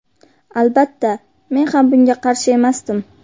Albatta, men ham bunga qarshi emasdim.